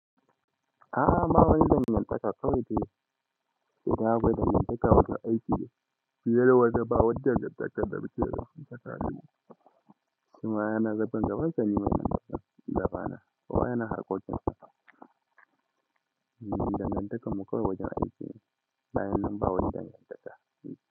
A'a ba wani danganta ka kawai de, idan abada mai taka wata aiki ne fiye da wannan ba wani dangantaka a tsakaninmu. Shinma yana harkan gabanasa nima in harkan gabana kowa yana harkan gabansa dangan takanmu kawai wajen aiki ne bayan nan ba wani dangan takq.